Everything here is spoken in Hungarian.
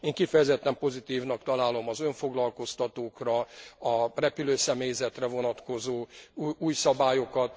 Én kifejezetten pozitívnak találom az önfoglalkoztatókra, a repülőszemélyzetre vonatkozó új szabályokat.